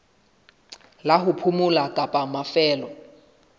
la ho phomola kapa mafelo